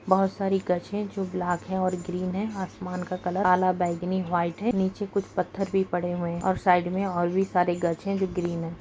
बहुत सारी गज है जो ब्लैक है और ग्रीन है | आसमान का कलर काला बैगनी वाइट है | निचे कुछ पत्थर भी पड़े हुए है और साइड में और भी सारे गज है जो ग्रीन है |